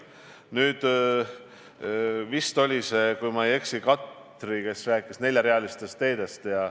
Nüüd, vist Katri oli see, kes rääkis neljarealistest teedest.